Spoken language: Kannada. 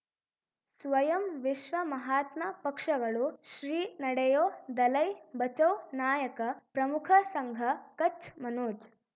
ಸ್ವಯಂ ವಿಶ್ವ ಮಹಾತ್ಮ ಪಕ್ಷಗಳು ಶ್ರೀ ನಡೆಯೂ ದಲೈ ಬಚೌ ನಾಯಕ ಪ್ರಮುಖ ಸಂಘ ಕಚ್ ಮನೋಜ್